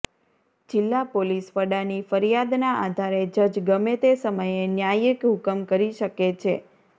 જીલ્લા પોલીસ વડાની ફરિયાદના આધારે જજ ગમે તે સમયે ન્યાયિક હુકમ કરી શકે છે